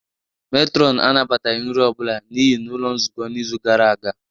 Matron anabataghị nri ọ bụla n'iyi n'ụlọ nzukọ n'izu gara aga